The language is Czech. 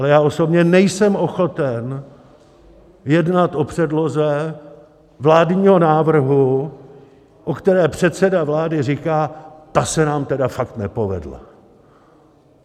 Ale já osobně nejsem ochoten jednat o předloze vládního návrhu, o které předseda vlády říká: Ta se nám tedy fakt nepovedla.